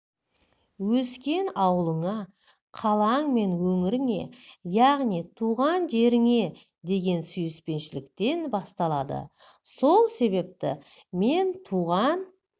өскен ауылыңа қалаң мен өңіріңе яғни туған жеріңе деген сүйіспеншіліктен басталады сол себепті мен туған